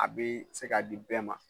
A be se ka di bɛɛ ma